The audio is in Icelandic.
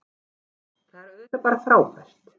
Það er auðvitað bara frábært